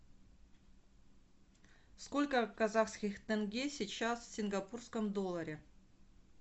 сколько казахских тенге сейчас в сингапурском долларе